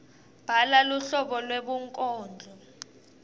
bhala luhlobo lwebunkondlo